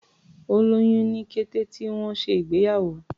Ó lóyún ní kété tí wọ́n ṣe ìgbéyàwó.